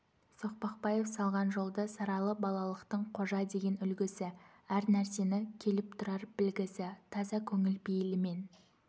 соқпақбаев салған жолды саралы балалықтың қожа деген үлгісі әр нәрсені келіп тұрар білгісі таза көңіл пейілімен